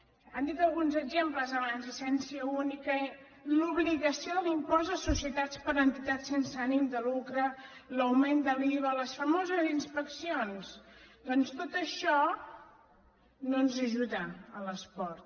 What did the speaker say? n’han dit alguns exemples abans llicència única l’obligació de l’impost de societats per a entitats sense ànim de lucre l’augment de l’iva les famoses inspeccions doncs tot això no ens ajuda a l’esport